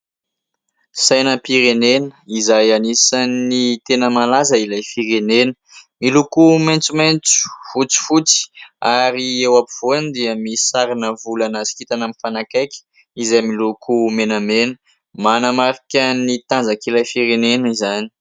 Sainam-pirenena izay anisany tena malaza ilay firenena, miloko maitsomaitso, fotsifotsy ary eo ampovoany dia misy sarina volana sy kintana mifanakaiky izay miloko menamena, manamarika ny tanjak'ilay firenena izany.